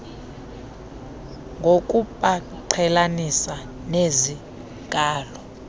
ngokubaqhelanisa nezi nkalo